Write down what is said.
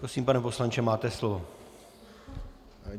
Prosím, pane poslanče, máte slovo.